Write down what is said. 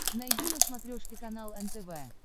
найди на смотрешке канал нтв